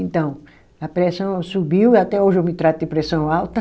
Então, a pressão subiu e até hoje eu me trato de pressão alta.